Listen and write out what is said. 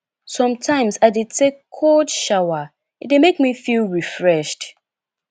sometimes i dey take cold shower e dey make me feel refreshed